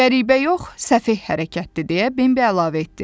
Qəribə yox, səfeh hərəkətdir, deyə Bembi əlavə etdi.